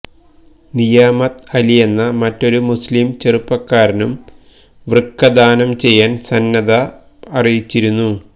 നിയാമത്ത് അലിയെന്ന മറ്റൊരു മുസ്ലിം ചെറുപ്പക്കാരനും വൃക്കദാനം ചെയ്യാൻ സന്നദ്ധത അറിയിച്ചരുന്നു